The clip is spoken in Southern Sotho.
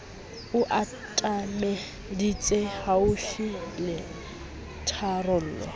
o atameditse haufi le tharollo